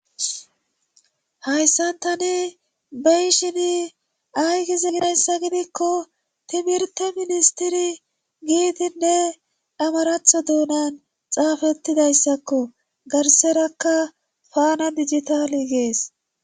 hayssan tani beyishini aygiz nayssa gidikko timirte ministiri giidinne amaratho duunan xaafettidayssakko garserakka faana digitaali gees